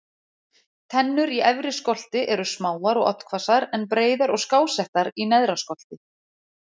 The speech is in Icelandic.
Tennur í efri skolti eru smáar og oddhvassar en breiðar og skásettar í neðra skolti.